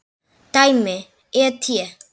Dæmi: et.